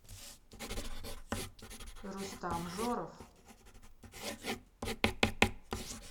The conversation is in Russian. рустам жоров